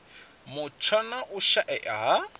mutsho na u shaea ha